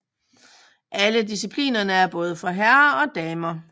Alle disciplinerne er både for herrer og damer